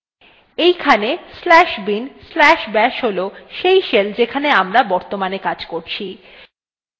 এইখানে slash bin slash bash হল সেই shell যেখানে আমরা বর্তমানে কাজ করছি